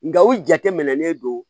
Nka u jateminɛlen don